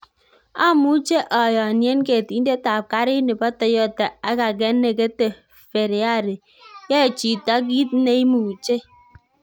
"Amuche oyonien ketindet ab kariit nebo Toyota ak age ne kete Fereari- yoe chito kit ne imuche."